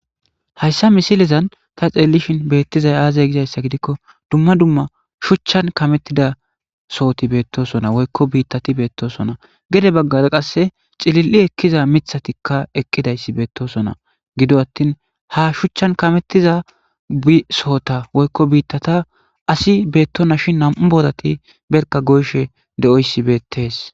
Hayssa misilezan ta xeellishin beettizay aazay gizayssa gidikko dumma dumma shuchchan kamettida sohoti beettosona woykko biittati beettosona gede baggar qasse cilil7i ekkiza mithatikka eqqidayssi beettosona gido attin ha shuchchan kametiza sohota woykko biittata asi beettona shin nam'u boodati berka goyshe de7oyssi beettees.